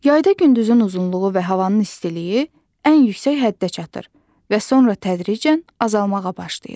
Yayda gündüzün uzunluğu və havanın istiliyi ən yüksək həddə çatır və sonra tədricən azalmağa başlayır.